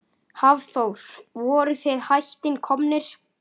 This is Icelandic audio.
Hafþór: Voruð þið hætt komnir?